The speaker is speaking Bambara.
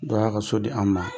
Dɔ y'a ka so di an ma